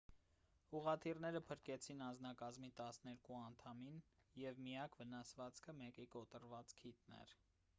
ուղղաթիռները փրկեցին անձնակազմի տասներկու անդամին և միակ վնասվածքը մեկի կոտրված քիթն էր